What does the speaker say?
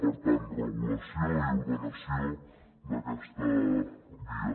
per tant regulació i ordenació d’aquesta via